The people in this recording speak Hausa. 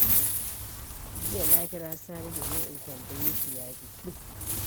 Jiya, na kira Sani domin in tambaye shi ya jiki.